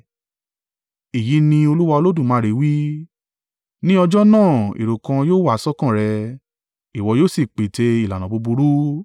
“ ‘Èyí ni Olúwa Olódùmarè wí: Ní ọjọ́ náà èrò kan yóò wá sọ́kàn rẹ, ìwọ yóò sì pète ìlànà búburú.